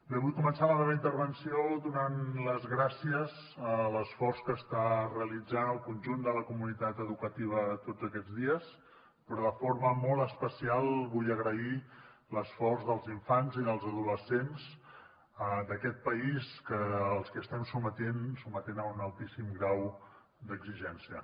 bé vull començar la meva intervenció donant les gràcies a l’esforç que està realitzant el conjunt de la comunitat educativa tots aquests dies però de forma molt especial vull agrair l’esforç dels infants i dels adolescents d’aquest país als que estem sotmetent a un altíssim grau d’exigència